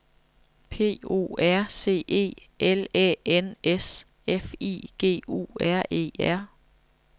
P O R C E L Æ N S F I G U R E R